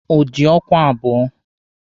O ji ọkwa abụọ